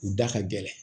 U da ka gɛlɛn